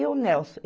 E o Nelson?